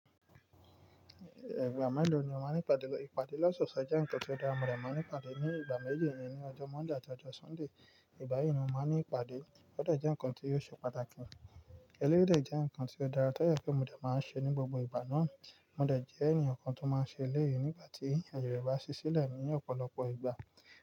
Ìgbà mélòó ni o máa ń ìpàdé? Ìpàdé lọsọọsẹ jẹ́ ǹkan tó dára, mo dẹ̀ máa ń ni ìpàdé ní ìgbà méjì nínú ọjọ́ Monday àti ọjọ́ Sunday. Ìgbà yí ni mo máa ń ní ìpàdé. O dẹ jẹ́ ǹkan tí o ṣe pàtàkì. Eléyìí dẹ jẹ́ ǹkan tí ó dára, tó dẹ jẹ pé mo dẹ máa ń ṣe ní gbogbo ìgbà náà. Mo dẹ jẹ́ ènìyàn kan tó máa ń ṣe eléyìí nígbà tí àyè rẹ bá ṣí sílẹ̀ ní ọ̀pọ̀lọpọ̀ ìgbà.